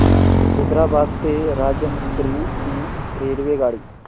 हैदराबाद ते राजमुंद्री ची रेल्वेगाडी